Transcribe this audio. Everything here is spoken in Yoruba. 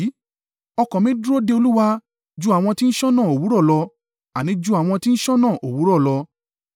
Ọkàn mi dúró de Olúwa, ju àwọn tí ń ṣọ́nà òwúrọ̀ lọ, àní ju àwọn tí ń ṣọ́nà òwúrọ̀ lọ.